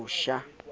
mosha o ne a ba